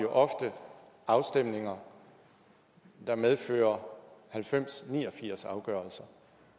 ofte afstemninger der medfører halvfems ni og firs afgørelser